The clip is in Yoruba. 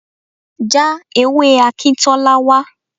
Já ewé Akintola wá.